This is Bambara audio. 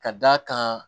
Ka d'a kan